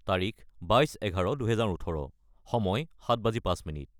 : তাৰিখ 22-11-2018 : সময় 0705